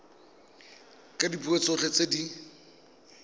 ka dipuo tsotlhe tse di